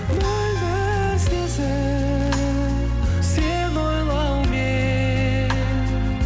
мөлдір сезім сені ойлаумен